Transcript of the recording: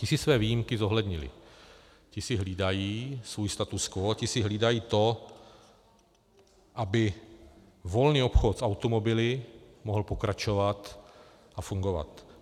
Ti si své výjimky zohlednili, ti si hlídají svůj status quo, ti si hlídají to, aby volný obchod s automobily mohl pokračovat a fungovat.